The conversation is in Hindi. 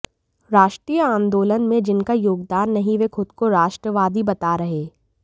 राष्ट्रीय आंदोलन में जिनका योगदान नहीं वे खुद को राष्ट्रवादी बता रहे